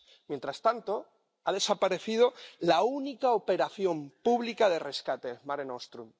Mientras tanto, ha desaparecido la única operación pública de rescate Mare Nostrum.